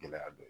Gɛlɛya dɔ ye